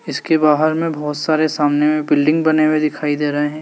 इसके बाहर में बहोत सारे सामने में बिल्डिंग बने हुए दिखाई दे रहे हैं।